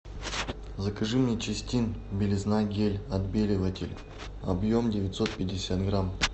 закажи мне чистин белизна гель отбеливатель объем девятьсот пятьдесят грамм